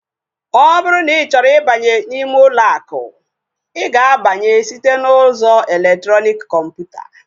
Ọ bụrụ na ị chọrọ ịbanye ime ụlọ akụ, I ga-abanye site n'ụzọ elektrọnik kọmputa